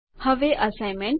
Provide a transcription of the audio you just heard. હવે અસાઇનમેન્ટ